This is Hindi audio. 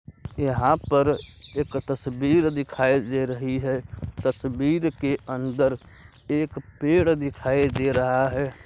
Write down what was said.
यहा पर एक तस्वीर दिखाय दे रही है तस्वीर के अन्दर एक पेड़ दिखाय दे रहा है।